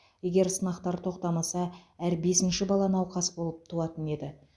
егер сынақтар тоқтамаса әр бесінші бала науқас болып туатын еді